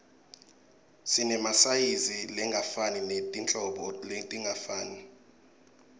sinemasayizi langefani netinhlobo letingafani